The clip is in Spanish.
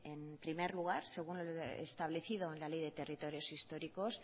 de en primer lugar según lo establecido en la ley de territorios históricos